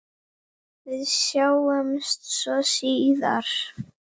Við sjáumst svo síðar.